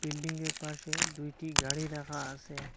বিল্ডিংয়ের পাশে দুইটি গাড়ি রাখা আসে।